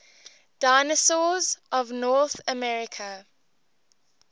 dinosaurs of north america